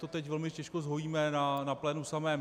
To teď velmi těžko zhojíme na plénu samém.